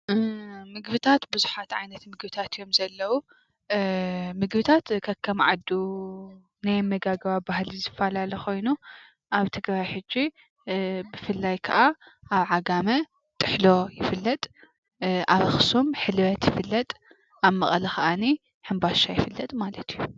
ምግብታት ብዙሓት ዓይነት ምግብታት እዮም ዘለው። ምግብታት ከከም ዓዱ ናይ ኣመጋግባ ባህሉ ዝፈላለ ኮይኑ ኣብ ትግራይ ሕጂ ብፍላይ ከዓ ኣብ ዓጋመ ጥሕሎ ይፍለጥ፤ ኣብ ኣክሱም ሕልበት ይፍለጥ፤ ኣብ መቐለ ከዓ ሕምባሻ ይፍለጥ ማለት እዩ።